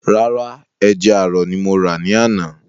Rárá, ẹja àrọ̀ ni mo rà ní àná